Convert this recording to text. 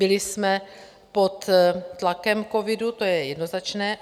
Byli jsme pod tlakem covidu, to je jednoznačné.